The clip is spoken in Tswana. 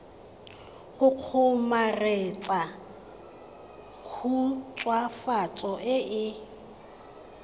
go kgomaretsa khutswafatso e e